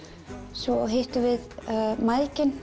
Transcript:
svo hittum við